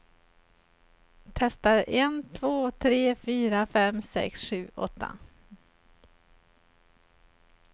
Testar en två tre fyra fem sex sju åtta.